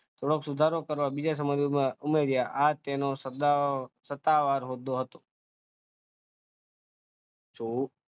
થોડોક સુધારો કરવા બીજા ઉમેર્યા, આ તેનો સત્તા, સત્તાવાર હોદ્દો હતો,